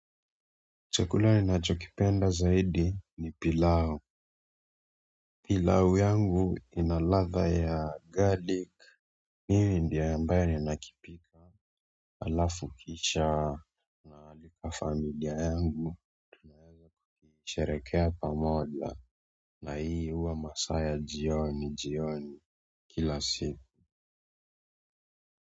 Chakula ninacho kipenda zaidi ni pilau pilau yangu ina ladha ya garlic. Miye ndiye ambaye nakipika. Alafu kisha naalika familia yangu tunasherehekea pamoja na hii huwa masaa ya jioni jioni kila siku.